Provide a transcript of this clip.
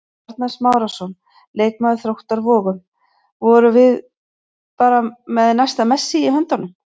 Arnar Smárason, leikmaður Þróttar Vogum: Vorum við bara með næsta Messi í höndunum?